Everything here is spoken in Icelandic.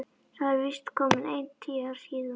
Það eru víst komin ein tíu ár síðan.